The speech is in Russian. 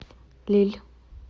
лилль